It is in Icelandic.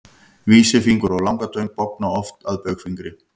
Vísifingur og langatöng bogna oft að baugfingri.